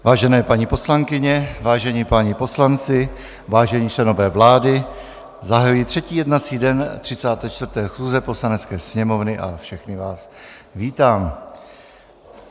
Vážené paní poslankyně, vážení páni poslanci, vážení členové vlády, zahajuji třetí jednací den 34. schůze Poslanecké sněmovny a všechny vás vítám.